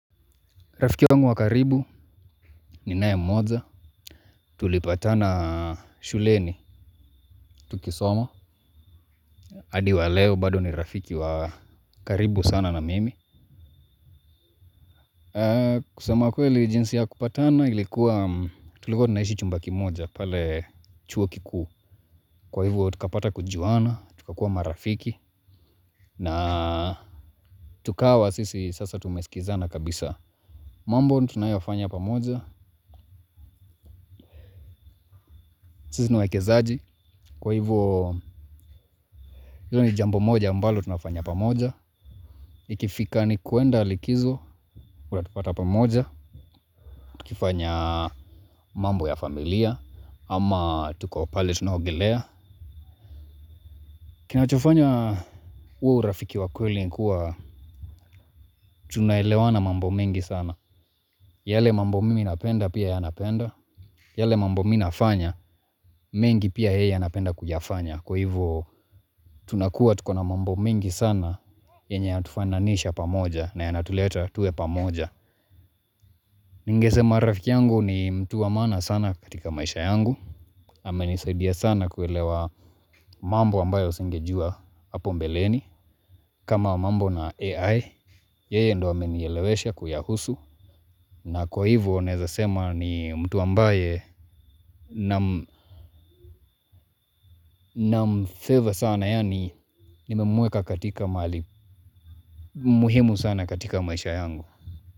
Rafiki wangu wa karibu ninae mmoja. Tulipatana shuleni tukisoma. Hadi wa leo bado ni rafiki wa karibu sana na mimi. Kusema kweli jinsi ya kupatana ilikuwa tulikuwa tunaishi chumba kimoja pale chuo kikuu. Kwa hivyo tukapata kujuana, tukakuwa marafiki na tukawa sisi sasa tumesikizana kabisa. Mambo tunayofanya pamoja, sisi ni waekezaji, kwa hivyo hilo ni jambo moja mbalo tunafanya pamoja. Ikifika ni kuenda likizo, utatupata pamoja, tukifanya mambo ya familia, ama tuko pale tuna ogelea. Kinachofanya huo urafiki wa kweli ni kuwa tunaelewana mambo mengi sana. Yale mambo mimi napenda pia yeye anapenda, yale mambo mi nafanya mengi pia yeye anapenda kuyafanya. Kwa hivyo tunakua tuko na mambo mengi sana yenye yanatufananisha pamoja na yanatuleta tuwe pamoja. Ningesema rafiki yangu ni mtu wa maana sana katika maisha yangu amenisaidia sana kuelewa mambo ambayo singejua hapo mbeleni. Kama mambo na AI, yeye ndo amenielewesha kuyahusu. Na kwa hivyo naeza sema ni mtu ambaye nam favour sana yaani nimemueka katika mahali muhimu sana katika maisha yangu.